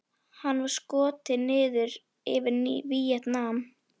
Hann var skotinn niður yfir Víetnam.